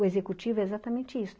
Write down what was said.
O executivo é exatamente isso.